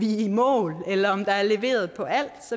i mål eller om der er leveret på alt